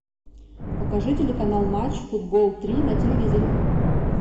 покажи телеканал матч футбол три на телевизоре